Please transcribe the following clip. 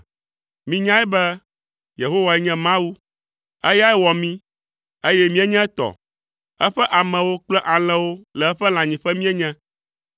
Minyae be Yehowae nye Mawu. Eyae wɔ mí, eye míenye etɔ, eƒe amewo kple alẽwo le eƒe lãnyiƒe míenye.